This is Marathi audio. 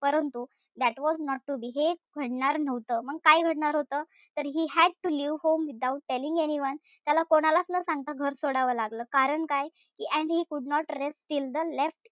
परंतु that was not to be हे घडणार नव्हतं. मंग काय घडणार होत? तर he had to leave home without telling anyone त्याला कोणालाच न सांगता घर सोडावं लागलं. कारण काय? And he could not rest till he left it behind.